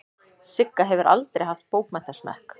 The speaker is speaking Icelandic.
Sigga hefur aldrei haft bókmenntasmekk.